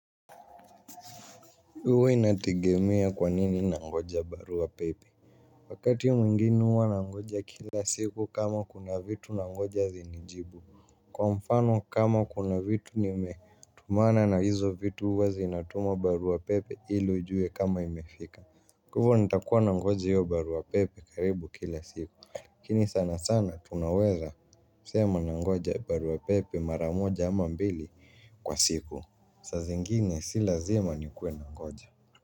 Huwa inategemea kwanini nangoja barua pepe wakati mwingine huwa nangoja kila siku kama kuna vitu nangoja zinijibu kwa mfano kama kuna vitu nimetumana na hizo vitu huwa zinatumwa barua pepe ili ujue kama imefika kwa hivyo nitakuwa nangoja hiyo barua pepe karibu kila siku. Lakini sana sana tunaweza sema nangoja barua pepe mara moja ama mbili kwa siku saa zingine sio lazima nikuwe nagoja.